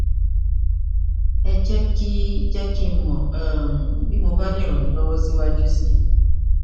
ẹ jẹ kí jẹ kí n mọ um bí mo bá lè ràn yín lọwọ síwájú sí i